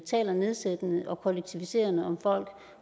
taler nedsættende og kollektiviserende om folk